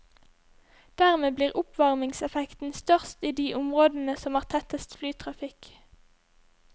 Dermed blir oppvarmingseffekten størst i de områdene som har tettest flytrafikk.